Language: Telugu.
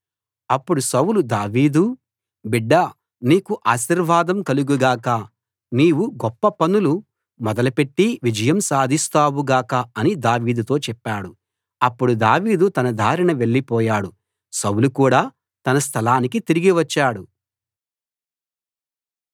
అప్పుడు సౌలు దావీదూ బిడ్డా నీకు ఆశీర్వాదం కలుగు గాక నీవు గొప్ప పనులు మొదలుపెట్టి విజయం సాధిస్తావు గాక అని దావీదుతో చెప్పాడు అప్పుడు దావీదు తన దారిన వెళ్లిపోయాడు సౌలు కూడా తన స్థలానికి తిరిగి వచ్చాడు